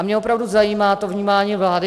A mě opravdu zajímá to vnímání vlády.